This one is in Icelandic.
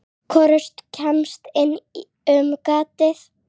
Hvorugt kemst inn um gatið.